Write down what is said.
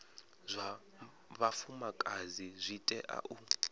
zwa vhafumakadzi zwi tea u